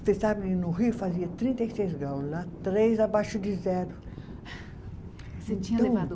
Você sabe no Rio fazia trinta e seis graus lá, três abaixo de zero. Você tinha levado